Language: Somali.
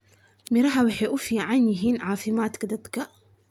miraha waxay uu fican yihin cafimaadka dadka.